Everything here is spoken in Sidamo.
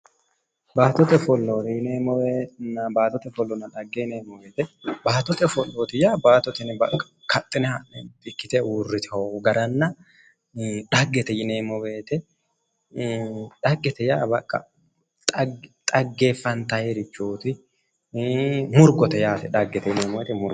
Baattote ofolla dhagge yineemmo woyte babbaxitinoti, baattote ofolloti yinneemmoti kaxine ha'neemmoti ikkite uurritino garanna dhaggete yinneemmo woyte dhaggete yaa baqa xaggeefantanirichoti, ii'i murgote yaate.